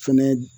Fɛnɛ